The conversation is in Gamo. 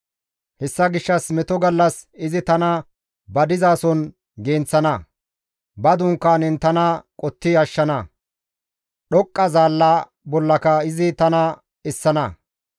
Hessa gishshas meto gallas izi tana ba dizason genththana; ba dunkaanen tana qotti ashshana; dhoqqa zaalla bollaka izi tana essana.